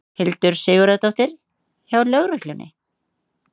Hildur Sigurðardóttir: Hjá lögreglunni?